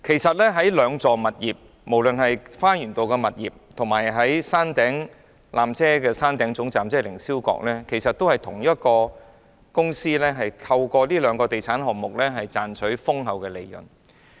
該兩幢物業，即花園道的纜車站及山頂的纜車總站，其實均屬同一公司轄下的地產項目，藉以賺取豐厚利潤。